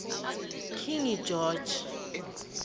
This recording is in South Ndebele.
king george